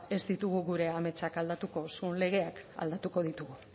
ez ditugu gure ametsak aldatuko zuon legeak aldatuko ditugu